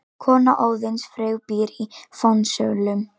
Kona Óðins, Frigg, býr í Fensölum.